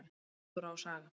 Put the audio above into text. Náttúra og saga.